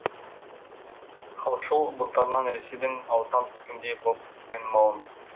халықшыл бунтарынан ресейдің аузынан түскендей боп айнымауын